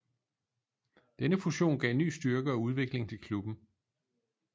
Denne fusion gav ny styrke og udvikling til klubben